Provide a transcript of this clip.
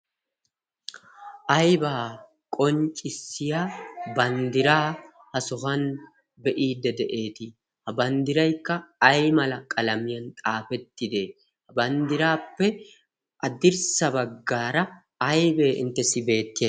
Aybaa qonccissiya banddiraa ha sohuwan be'iidde de'eetii? Ha banddiraikka ay mala qalamiyan xaafettidee? Ha banddiraappe addirssa baggaara aibee inttessi beetti?